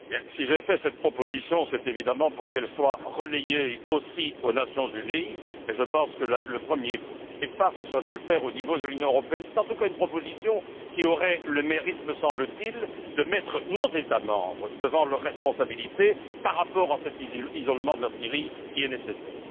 Monsieur le Président, si j'ai fait cette proposition, c'est, évidemment, pour qu'elle soit relayée, aussi, aux Nations unies, mais je pense qu'un premier pas consisterait à le faire au niveau de l'Union européenne. C'est, en tout cas, une proposition qui aurait le mérite, me semble t il, de mettre nos États membres devant leurs responsabilités par rapport à cet isolement de la Syrie, qui est nécessaire.